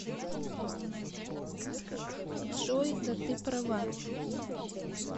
джой да ты права